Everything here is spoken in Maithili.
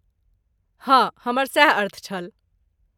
हँ, हमर सैह अर्थ छल।